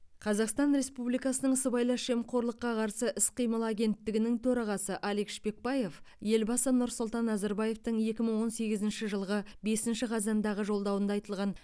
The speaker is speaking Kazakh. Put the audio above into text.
қазақстан республикасының сыбайлас жемқорлыққа қарсы іс қимыл агенттігінің төрағасы алик шпекбаев елбасы нұрсұлтан назарбаевтың екі мың он сегізінші жылғы бесінші қазандағы жолдауында айтылған